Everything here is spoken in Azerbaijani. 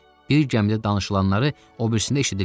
Bir gəmidə danışılanları o birisində eşidirlər.